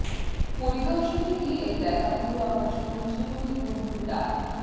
পরিদর্শনে গিয়ে দেখা হলো আমার স্কুল জীবনের বন্ধু ডা